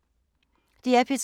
DR P3